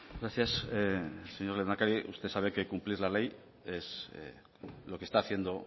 gracias señor lehendakari usted sabe que cumplir la ley es lo que está haciendo